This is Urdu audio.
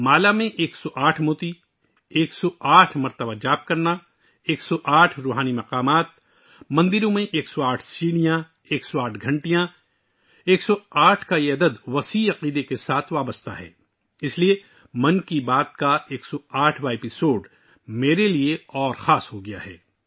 ہار میں 108 دانے، 108 بار وِرد، 108 روحانی احساس، مندروں میں 108 سیڑھیاں، 108 گھنٹیاں، 108 کا یہ عدد بے پناہ عقیدت سے جڑی ہوئی ہے، اسی لیے 'من کی بات' کی 108 واں قسط میرے لیے بہت خاص ہوگئی ہے